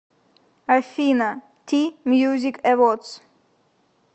афина ти мьюзик эводс